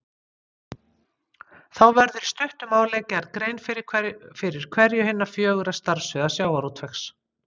Þá verður í stuttu máli gerð grein fyrir hverju hinna fjögurra starfssviða sjávarútvegs.